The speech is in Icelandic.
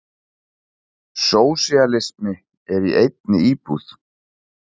Sósíalismi í einni íbúð.